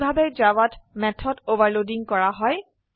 এইভাবে জাভাত method overloading কৰা হয়